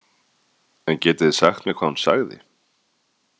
En getið þið sagt mér hvað hún sagði?